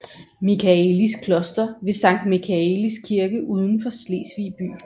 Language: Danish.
Michaelis Kloster ved Sankt Michaelis Kirke uden for Slesvig by